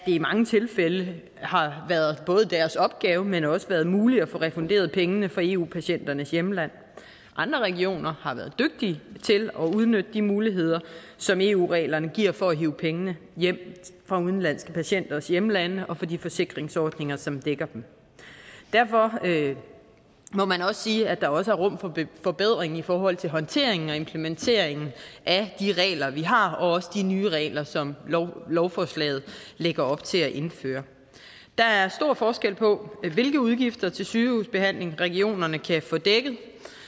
i mange tilfælde har været både deres opgave men også været muligt at få refunderet pengene fra eu patienternes hjemland andre regioner har været dygtige til at udnytte de muligheder som eu reglerne giver for at hive pengene hjem fra udenlandske patienters hjemlande og fra de forsikringsordninger som dækker dem derfor må man også sige at der også er rum for forbedring i forhold til håndteringen og implementeringen af de regler vi har og også de nye regler som lovforslaget lægger op til at indføre der er stor forskel på hvilke udgifter til sygehusbehandling regionerne kan få dækket i